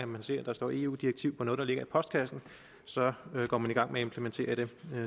man ser at der står eu direktiv på noget der ligger i postkassen så går man i gang med at implementere det